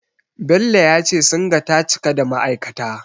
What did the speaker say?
Bello ya ce Singa ta cika da ma'aikata.